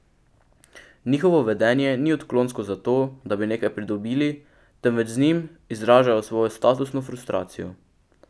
Njihovo vedenje ni odklonsko zato, da bi nekaj pridobili, temveč z njim izražajo svojo statusno frustracijo.